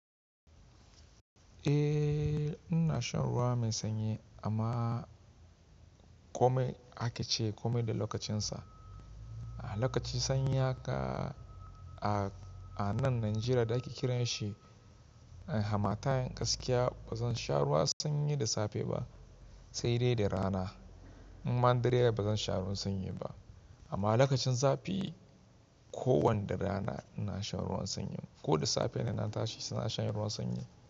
Eh, ina shan ruwa mai sanyi amma kome ake ce kome da lokacinsa. Lokaci sanyi haka a, a nan Najeriya da ake kiran shi hamatan gaskiya ba zan sha ruwa sanyi da safe ba sai dai da rana. Man dare yayi ba zan sha ruwan sanyi ba amma lokacin zafi ko wanda rana ina shan ruwan sanyi ko da safe ina tashi ina shan ruwan sanyi.